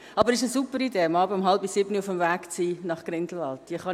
Aber es ist eine super Idee, abends um 18.30 Uhr auf dem Weg nach Grindelwald zu sein;